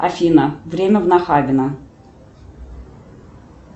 афина время в нахабино